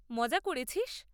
মজা করেছিস?